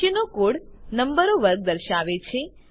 નીચેનો કોડ નંબરો વર્ગ દર્શાવે છે